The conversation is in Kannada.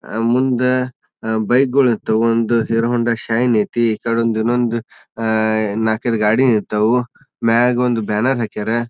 ಅಹ್ ಮುಂದ ಅಹ್ ಬೈಕ್ ಗೊಳ್ ನಿತ್ತವು. ಒಂದು ಹೀರೋ ಹೋಂಡಾ ಶೈನ್ ಐತಿ. ಈಕಡೆ ಒಂದು ಇನ್ನೊಂದು ಆ ನಾಕೈದು ಗಾಡಿ ನಿಂತಾವು ಮ್ಯಾಗ ಒಂದು ಬ್ಯಾನ್ನರ್ ಹಾಕ್ಯರ.